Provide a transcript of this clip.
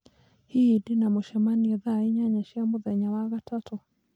hihi ndĩna mũcemanio thaa inyanya cia mũthenya wa gatatũ?